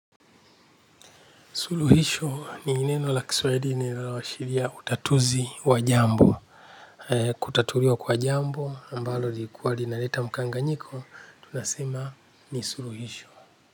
Suluhisho ni neno la kiswadi ni la washiria utatuzi wa jambo. Kutatuliwa kwa jambo, ambalo likua linaleta mkanganyiko, tunasema ni suluhisho.